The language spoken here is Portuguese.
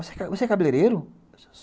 Você é cabeleireiro?